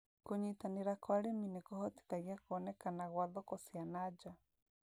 Kũnyitanĩra kwa arĩmi nĩkũhotithagia kuonekana gwa thoko cia na nja